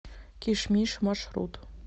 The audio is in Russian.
кишмиш маршрут